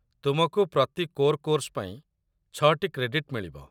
ତୁମକୁ ପ୍ରତି core course ପାଇଁ ଛଅଟି କ୍ରେଡିଟ୍‌ ମିଳିବ